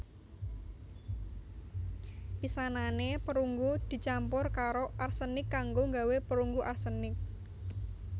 Pisanane perunggu dicampur karo arsenik kanggo nggawé perunggu arsenik